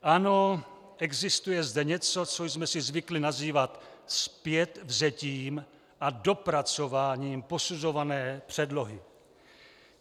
Ano, existuje zde něco, co jsme si zvykli nazývat zpětvzetím a dopracováním posuzované předlohy.